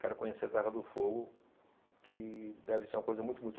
Quero conhecer a Terra do Fogo, que deve ser uma coisa muito muito